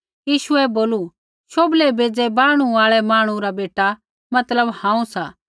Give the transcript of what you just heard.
यीशुऐ बोलू शोभलै बेज़ै बाहणु आल़ा मांहणु रा बेटा मतलब हांऊँ सा